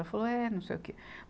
Ela falou, é, não sei o que.